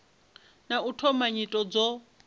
na u thoma nyito dzo